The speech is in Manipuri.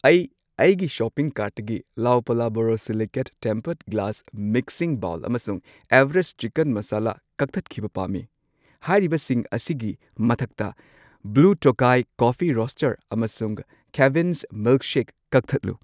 ꯑꯩ ꯑꯩꯒꯤ ꯁꯣꯄꯤꯡ ꯀꯥꯔꯠꯇꯒꯤ ꯂꯥꯑꯣꯄꯥꯂꯥ ꯕꯣꯔꯣꯁꯤꯂꯤꯀꯦꯠ ꯇꯦꯝꯄꯔꯗ ꯒ꯭ꯂꯥꯁ ꯃꯤꯛꯁꯤꯡ ꯕꯥꯎꯜ ꯑꯃꯁꯨꯡ ꯑꯦꯚꯔꯦꯁꯠ ꯆꯤꯀꯟ ꯃꯁꯥꯂꯥ ꯀꯛꯊꯠꯈꯤꯕ ꯄꯥꯝꯃꯤ꯫ ꯍꯥꯏꯔꯤꯕꯁꯤꯡ ꯑꯁꯤꯒꯤ ꯃꯊꯛꯇ ꯕ꯭ꯂꯨ ꯇꯣꯀꯥꯏ ꯀꯣꯐꯤ ꯔꯣꯁꯇꯔ ꯑꯃꯁꯨꯡ ꯀꯦꯕꯤꯟꯁ ꯃꯤꯜꯛꯁꯦꯛ ꯀꯛꯊꯠꯂꯨ꯫